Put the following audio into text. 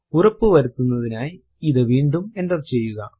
ഉറപ്പു വരുത്തുന്നതിനായി ഇത് വീണ്ടും എന്റർ ചെയ്യുക